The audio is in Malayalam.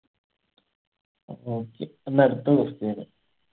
okay പിന്നെ അടുത്ത question